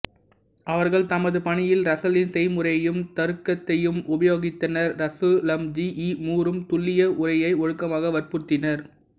அவர்கள் தமது பணியில் ரசலின் செய்முறையையும் தருக்கத்தையும் உபயோகித்தனர் ரசலும்ஜி ஈ மூரும் துல்லிய உரையை ஒழுக்கமாக வற்புறுத்தினர்